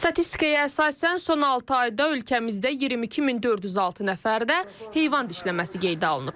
Statistikaya əsasən, son altı ayda ölkəmizdə 22406 nəfərdə heyvan dişləməsi qeydə alınıb.